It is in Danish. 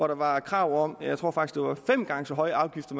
der var krav om fem gange så høje afgifter